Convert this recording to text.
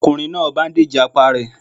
Ọkùnrin náà báúndèjì apá rẹ̀